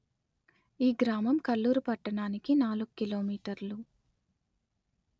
ఈ గ్రామము కల్లూరు పట్టణానికి నాలుగు కిలో మీటర్లు.